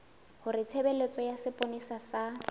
hore tshebeletso ya sepolesa sa